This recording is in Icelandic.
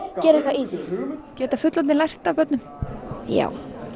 geri eitthvað í því geta fullorðnir lært af börnum já